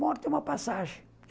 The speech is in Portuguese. Morte é uma passagem.